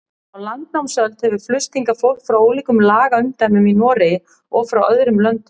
Á landnámsöld hefur flust hingað fólk frá ólíkum lagaumdæmum í Noregi og frá öðrum löndum.